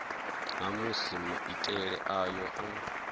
ha musi maitele ayo a